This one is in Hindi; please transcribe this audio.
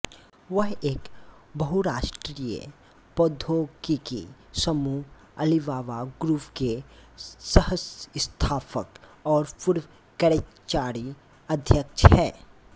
वह एक बहुराष्ट्रीय प्रौद्योगिकी समूह अलीबाबा ग्रुप के सहसंस्थापक और पूर्व कार्यकारी अध्यक्ष हैं